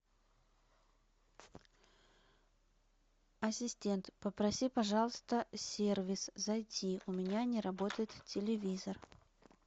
ассистент попроси пожалуйста сервис зайти у меня не работает телевизор